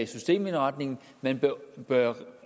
systemindretningen man bør